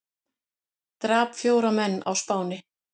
Drap fjóra menn á Spáni